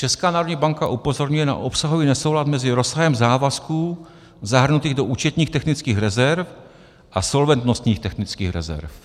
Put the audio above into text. Česká národní banka upozorňuje na obsahový nesoulad mezi rozsahem závazků zahrnutých do účetních technických rezerv a solventnostních technických rezerv.